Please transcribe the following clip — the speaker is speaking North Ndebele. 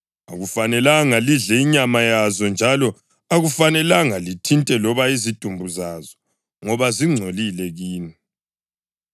Akufanelanga lidle inyama yazo njalo akufanelanga lithinte loba izidumbu zazo; ngoba zingcolile kini.